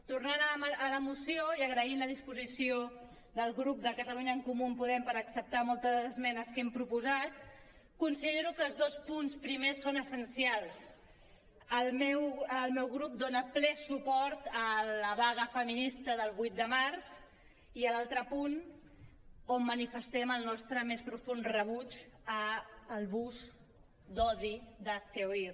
tornant a la moció i agraint la disposició del grup de catalunya en comú podem per acceptar moltes de les esmenes que hem proposat considero que els dos punts primers són essencials el meu grup dona ple suport a la vaga feminista del vuit de març i a l’altre punt on manifestem el nostre més profund rebuig al bus d’odi d’hazte oír